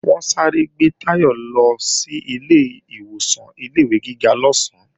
Wọ́n sáré gbé Táyọ̀ lọ sílé ìwọ̀san ilé-ìwé gíga lọ́sán